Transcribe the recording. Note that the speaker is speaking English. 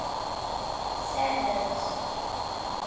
sadler's